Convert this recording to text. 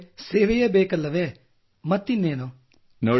ನಮಗೆ ಸೇವೆಯೇ ಬೇಕಲ್ಲವೇಮತ್ತಿನ್ನೇನು